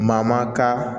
Maa maa ka